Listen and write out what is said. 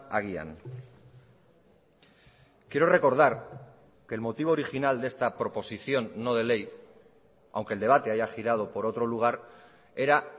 agian quiero recordar que el motivo original de esta proposición no de ley aunque el debate haya girado por otro lugar era